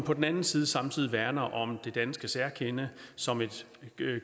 på den anden side samtidig værner om det danske særkende som et